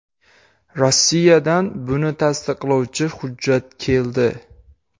Rossiyadan buni tasdiqlovchi hujjat keldi.